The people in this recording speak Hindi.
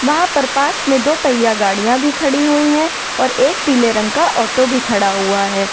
वहां पर पास में दो पहिया गाड़ियां भी खड़ी हुईं हैं और एक पीले रंग का ऑटो भी खड़ा हुआ है।